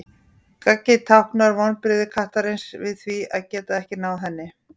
Gaggið táknar vonbrigði kattarins við því að geta ekki náð henni.